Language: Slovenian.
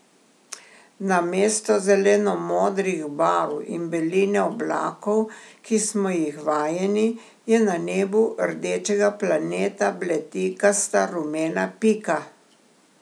Namesto zelenomodrih barv in beline oblakov, ki smo jih vajeni, je na nebu rdečega planeta bledikasta rumena pika.